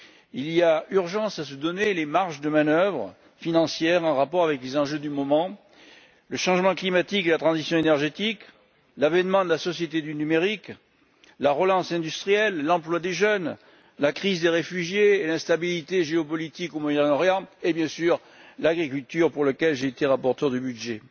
Il y a urgence à se donner les marges de manœuvre financières en rapport avec les enjeux du moment le changement climatique, la transition énergétique, l'avènement de la société du numérique, la relance industrielle, l'emploi des jeunes, la crise des réfugiés, l'instabilité géopolitique au Moyen Orient et, bien sûr, l'agriculture, dossier pour lequel j'ai été rapporteur du budget.